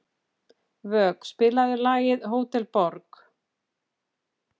Vök, spilaðu lagið „Hótel Borg“.